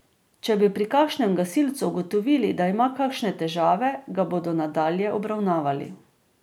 Če bi pri kakšnem gasilcu ugotovili, da ima kakšne težave, ga bodo nadalje obravnavali.